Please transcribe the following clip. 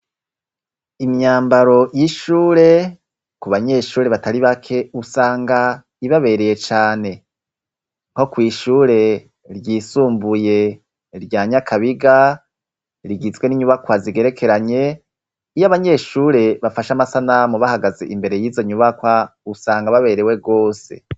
Imyambaro y'ishure ku banyeshure batari bake usanga ibabereye cane nko kw'iishure ryisumbuye rya Nyakabiga rigizwe n'inyubakwa zigerekeranye iyo abanyeshure bafashe amasana mu bahagaze imbere yizo nyubakwa usanga baberewe gose.